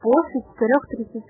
итогкпр